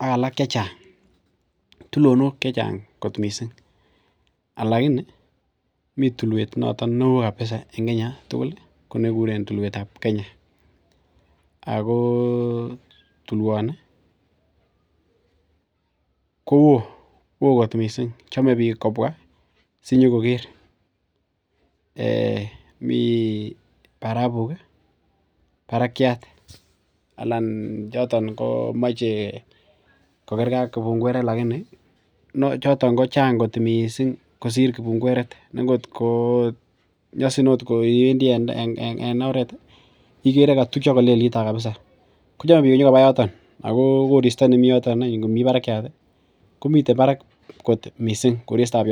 ak alak chechang missing. lakini mi tuluet noton neoo kapsa en Kenya tugul ih ko nekikuren tuluetab Kenya ago tuluani kouoo fot missing, chame bik kobua asinyokoker. Mi barabuk ih barakiat Alan komi barakiat kochang kot missing kosir kibungueret ne kot ko nyasin akot iwendii en oret kochame bik kobur en yoto Ako korista nemi yooton komiten barak missing korista.